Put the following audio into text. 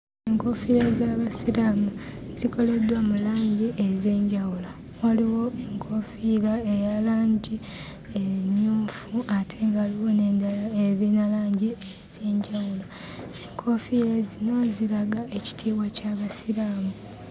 Enkoofiira gy'Abasiraamu zikoleddwa mu langi ez'enjawulo. Waliwo enkoofiira eya langi emmyufu ate nga waliwo n'endala erina langi ez'enjawulo. Enkoofiira zino ziraga ekitiibwa ky'Abasiraamu.